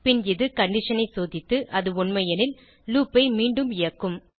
பின் இது கண்டிஷன் ஐ சோதித்து அது உண்மை எனில் லூப் ஐ மீண்டும் இயக்கும்